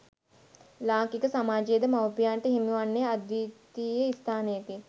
ලාංකික සමාජයේද මවුපියන්ට හිමි වන්නේ අද්විතීය ස්ථානයකි.